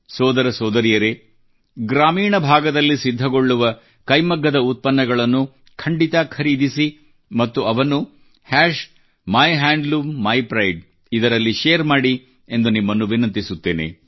ಸೋದರ ಸೋದರಿಯರೇ ಗ್ರಾಮೀಣ ಭಾಗದಲ್ಲಿ ಸಿದ್ಧಗೊಳ್ಳುವ ಕೈಮಗ್ಗದ ಉತ್ಪನ್ನಗಳನ್ನು ಖಂಡಿತ ಖರೀದಿಸಿ ಮತ್ತು ಅವನ್ನು ಮೈಹ್ಯಾಂಡ್ಲೂಮ್ಮಿಪ್ರೈಡ್ ನಲ್ಲಿ ಶೇರ್ ಮಾಡಿ ಎಂದು ನಿಮ್ಮನ್ನು ವಿನಂತಿಸುತ್ತೇನೆ